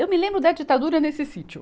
Eu me lembro da ditadura nesse sítio.